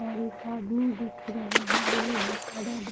और एक आदमी दिख रहे हैं रेल विभाग --